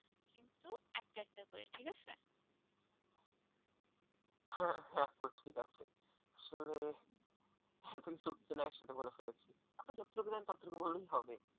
হ্যাঁ হ্যাঁ আপু ঠিক আছে আসলে এতকিছু আসলে একসাথে বলে ফেলেছি আপনি যতটুকু জানেন ততটুকুই বললেই হবে।